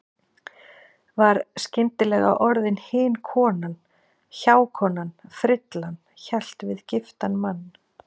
Var skyndilega orðin hin konan, hjákonan, frillan- hélt við giftan mann.